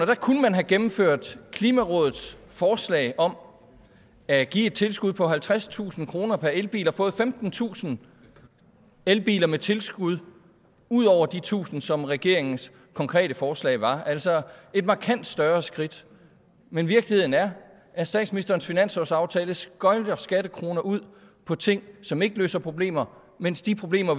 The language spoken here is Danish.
der kunne man have gennemført klimarådets forslag om at give et tilskud på halvtredstusind kroner per elbil og fået femtentusind elbiler med tilskud ud over de tusind som regeringens konkrete forslag var altså et markant større skridt men virkeligheden er at statsministerens finanslovsaftale sprøjter skattekroner ud på ting som ikke løser problemer mens de problemer